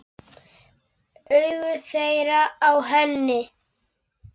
Augu þeirra á henni.